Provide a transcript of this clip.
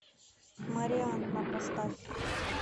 марианна поставь